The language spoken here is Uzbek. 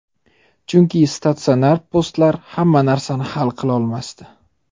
Chunki statsionar postlar hamma narsani hal qilolmasdi.